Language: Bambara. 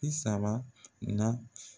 Bi saba na